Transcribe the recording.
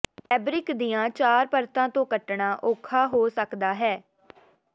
fabric ਦੀਆਂ ਚਾਰ ਪਰਤਾਂ ਤੋਂ ਕੱਟਣਾ ਔਖਾ ਹੋ ਸਕਦਾ ਹੈ